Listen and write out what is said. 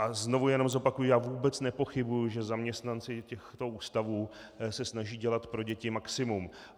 A znovu jenom zopakuji, já vůbec nepochybuji, že zaměstnanci toho ústavu se snaží dělat pro děti maximum.